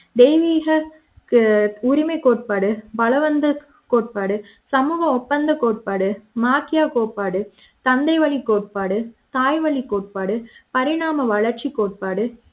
தெய்வீக ஆஹ் உரிமைக் கோட்பாடு பலவந்த கோட்பாடு சமூக ஒப்பந்தக் கோட்பாடு மாகிய கோட்பாடு தந்தை வழி கோட்பாடு தாய்வழி கோட்பாடு பரிணாம வளர்ச்சி கோட்பாடு